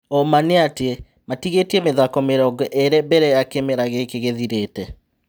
ũma nĩ atĩ matigĩ tie mĩ thako mĩ rongo ĩ rĩ mbere ya kĩ mera gíkĩ gĩ thirĩ te.